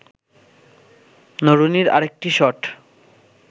নরুনির আরেকটি শট